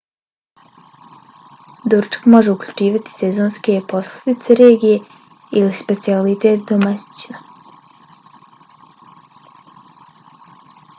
doručak može uključivati sezonske poslastice regije ili specijalitet domaćina